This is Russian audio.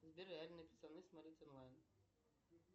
сбер реальные пацаны смотреть онлайн